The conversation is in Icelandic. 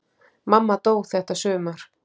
Mamma dó þetta sumar.